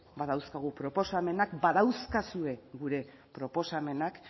badauzkagu proposamenak badauzkazue gure proposamenak